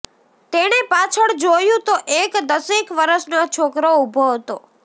તેણે પાછળ જોયું તો એક દસેક વરસનો છોકરો ઊભો હતો